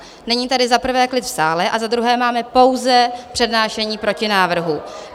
Není tady za prvé klid v sále a za druhé máme pouze přednášení protinávrhu.